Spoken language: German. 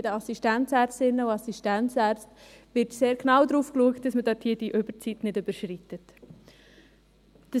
Bei den Assistenzärztinnen und Assistenzärzten wird sehr genau darauf geschaut, dass die Arbeitszeit nicht überschritten wird.